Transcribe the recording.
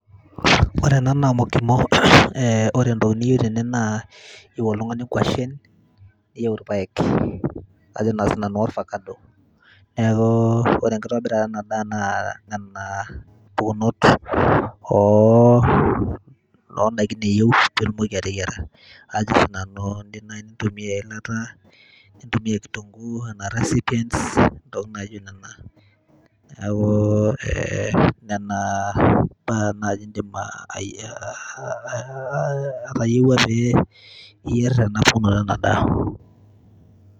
ore ena naa mokimo eh, ore entoki niyieu tene naa iyieu oltung'ani inkuashen niyieu irpayek ajo naa sinanu worfakado, neeku ore enkitobirata ena daa naa nena pukunot oh, ondaikin eyieu piitumoki ateyiara ajo sinanu indim naaji nintumia eilata nintumia kitunguu enaa recipients intokitin naijo nena neeku eh, nena baa naaji indim uh, atayiewua piyierr ena pukunoto ena daa.